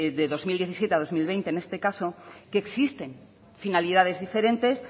de dos mil diecisiete dos mil veinte en este caso existen finalidades diferentes